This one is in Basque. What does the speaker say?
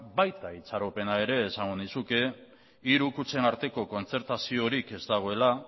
baita itxaropena ere esango nizuke hiru kutxen arteko kontzertazioarik ez dagoela